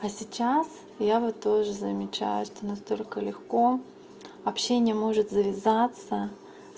а сейчас я вот тоже замечаю что настолько легко общение может завязаться